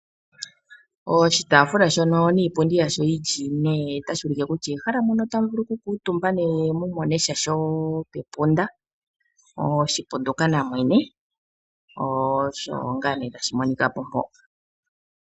Oshitaafula shono niipundi ya sho yili ine, otashi u like kutya ehala mono ta mu vulu oku kala omutumba ne mu monesha sho pe punda. oshipunduka na mwene, osho ngaa nee tashi monika po mpo.